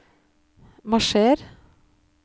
marsjer